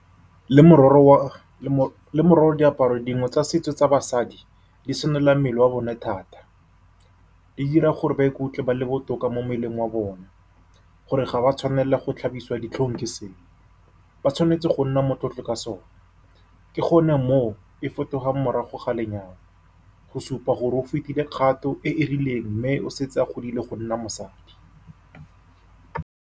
Le mororo diaparo dingwe tsa setso tsa basadi di senola mmele wa bone thata, di dira gore ba ikutlwe ba le botoka mo mmeleng wa bona, gore ga ba tshwanela go tlhabiswa ditlhong ke seo. Ba tshwanetse go nna motlotlo ka sona ke gone moo e fetogang morago ga lenyalo, go supa gore o fetile kgato e e rileng mme o setse a godile go nna mosadi.